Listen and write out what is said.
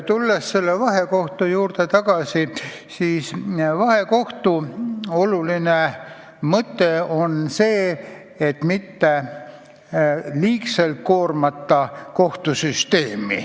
Tulles tagasi vahekohtu juurde, selgitan, et vahekohtu oluline mõte on hoida ära kohtusüsteemi liigne koormamine.